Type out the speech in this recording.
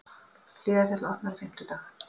Hlíðarfjall opnar á fimmtudag